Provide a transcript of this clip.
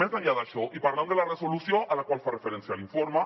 més enllà d’això i parlant de la resolució a la qual fa referència l’informe